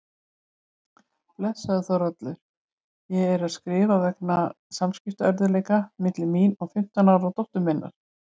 Blessaður Þórhallur, ég er að skrifa vegna samskiptaörðugleika milli mín og fimmtán ára dóttur minnar.